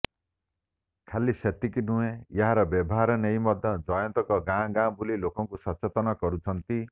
ଖାଲି ସେତିକି ନୁହେଁ ଏହାର ବ୍ୟବହାର ନେଇ ମଧ୍ୟ ଜୟନ୍ତ ଗାଁଗାଁ ବୁଲି ଲୋକଙ୍କୁ ସଚେତନ କରୁଛନ୍ତି